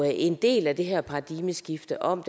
en del af det her paradigmeskifte om